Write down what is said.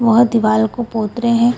वह दीवाल को पोत रहे हैं।